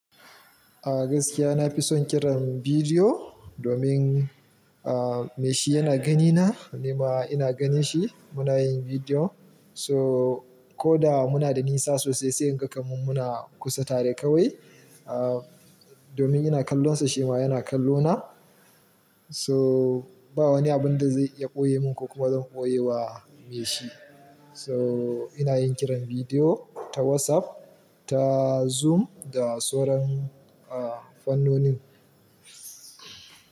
A gaskiya na fi son kiran bidiyo domin, me shi yana gani na, ni ma ina ganin shi munayin bidiyo so koda muna da nisa sosai sai inga kaman muna kusa tare kawai. Domin ina kallo sa, shi ma yana kallo na. So ba wani abun da zai iya ɓoye mun ko kuma zan ɓoye wa me shi. So ina yin kiran bidiyo ta WhatsApp, ta Zoom da sauran, fannonin.